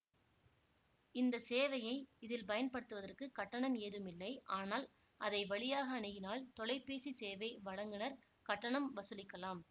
இந்த சேவையை இதில் பயன்படுத்துவதற்குக் கட்டணம் ஏதுமில்லை ஆனால் அதை வழியாக அணுகினால் தொலைபேசி சேவை வழங்குநர் கட்டணம் வசூலிக்கலாம்